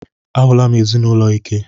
A hụla m ezinụlọ ike.